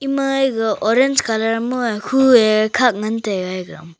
maye orange kalar ma khuye khat ngan taiga.